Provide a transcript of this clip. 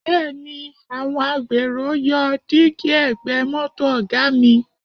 Bẹ́ẹ̀ni, àwọn agbèrò yọ dígí ẹ̀gbẹ́ mọ́tò Ọ̀ga mi